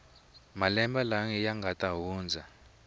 malembe lawa ya nga hundza